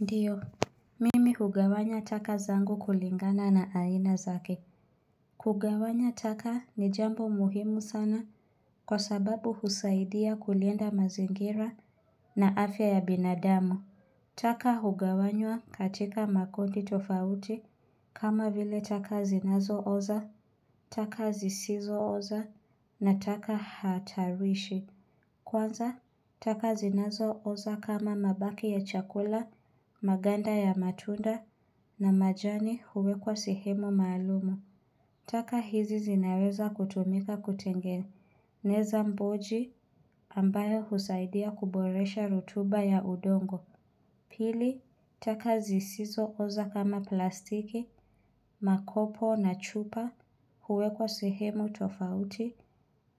Ndiyo, mimi hugawanya taka zangu kulingana na aina zake. Kugawanya taka ni jambo muhimu sana kwa sababu husaidia kulinda mazingira na afya ya binadamu. Taka hugawanywa katika makundi tofauti kama vile taka zinazo oza, taka zisizo oza na taka hatarishi. Kwanza, taka zinazo oza kama mabaki ya chakula, maganda ya matunda na majani huwekwa sehemu maalum. Taka hizi zinaweza kutumika kutengeneza mboji ambayo husaidia kuboresha rutuba ya udongo. Pili, taka zisizo oza kama plastiki, makopo na chupa huwekwa sehemu tofauti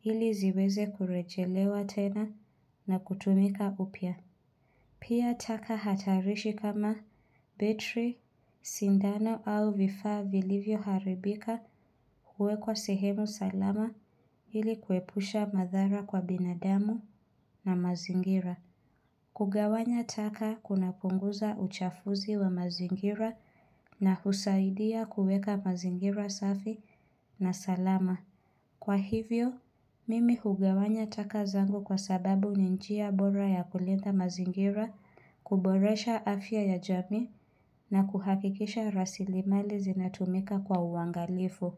ili ziweze kurejelewa tena na kutumika upya. Pia taka hatarishi kama betri sindano au vifaa vilivyoharibika huwekwa sehemu salama ili kuepusha madhara kwa binadamu na mazingira. Kugawanya taka kuna kupunguza uchafuzi wa mazingira na husaidia kuweka mazingira safi na salama. Kwa hivyo, mimi hugawanya taka zangu kwa sababu ni njia bora ya kulinda mazingira, kuboresha afya ya jamii na kuhakikisha rasilimali zinatumika kwa uangalifu.